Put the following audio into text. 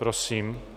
Prosím.